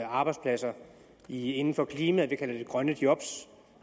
arbejdspladser inden for klimaet kalder vi det grønne job